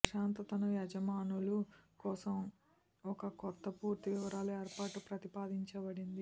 ప్రశాంతతను యజమానులు కోసం ఒక కొత్త పూర్తి వివరాలు ఏర్పాటు ప్రతిపాదించబడింది